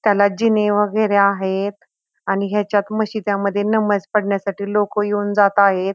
त्याला जीने वगेरे आहेत आणि याच्यात मशिदयामधे नमाज पडण्यासाठी लोक येऊन जात आहेत.